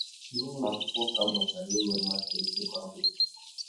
N’ụlọ akwụkwọ ka m mụtara inwe mmasị ịgụ akwụkwọ.